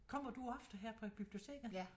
Kommer du ofte her på biblioteket?